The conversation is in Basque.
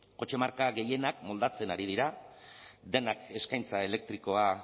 kotxe marka gehienak moldatzen ari dira denak eskaintza elektrikoa